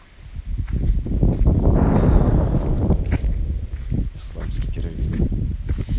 кировский